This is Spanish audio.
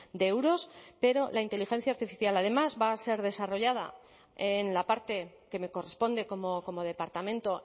de euros pero la inteligencia artificial además va a ser desarrollada en la parte que me corresponde como departamento